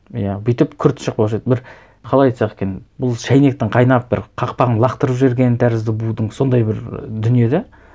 иә бүйтіп күрт шықпаушы еді бір қалай айтсақ екен бұл шәйнектің қайнап бір қақпағын лақтырып жібергені тәрізді будын сондай бір дүние де